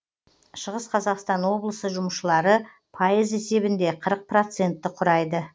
шығыс қазақстан облысы жұмысшылары пайыз есебінде қырық процентті құрайды